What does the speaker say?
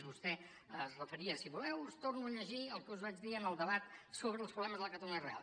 vostè s’hi referia si voleu us torno a llegir el que us vaig dir en el debat sobre els problemes de la catalunya real